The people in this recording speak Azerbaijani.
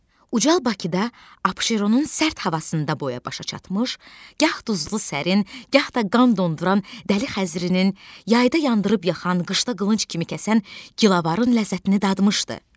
Ucal Bakıda Abşeronun sərt havasında boya-başa çatmış, gah duzlu sərin, gah da qan donduran dəli Xəzərinin, yayda yandırıb-yaxan, qışda qılınc kimi kəsən gilavarın ləzzətini dadmışdı.